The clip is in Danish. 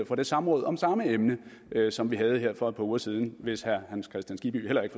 fra det samråd om samme emne som vi havde her for et par uger siden hvis herre hans kristian skibby heller ikke